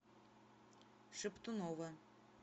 шептунова